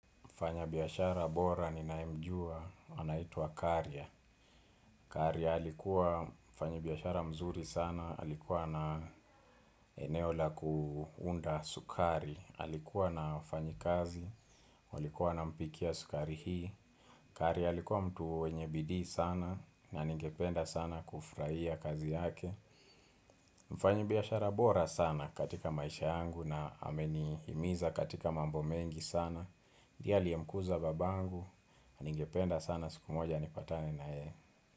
Mfanya biashara bora ninaye mjua, anaitwa karya. Karya alikuwa mfanyi biashara mzuri sana, alikuwa na eneo la kuunda sukari. Alikuwa na wafanyi kazi, walikuwa wana mpikiya sukari hii. Karya alikuwa mtu mwenye bidii sana, na ningependa sana kufurahia kazi yake. Mfanyi biashara bora sana katika maisha yangu na ameni himiza katika mambo mengi sana. Ndiye aliyemkuza babangu, ningependa sana siku moja nipatane na yeye.